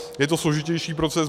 Je to složitější proces.